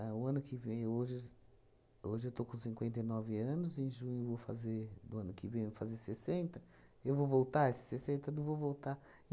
A o ano que vem, hoje hoje eu estou com cinquenta e nove anos, em junho vou fazer, do ano que vem eu vou fazer sessenta, eu vou voltar esses sessenta? Eu não vou voltar.